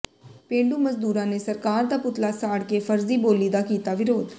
ਪੇਂਡੂ ਮਜ਼ਦੂਰਾਂ ਨੇ ਸਰਕਾਰ ਦਾ ਪੁਤਲਾ ਸਾੜ ਕੇ ਫ਼ਰਜ਼ੀ ਬੋਲੀ ਦਾ ਕੀਤਾ ਵਿਰੋਧ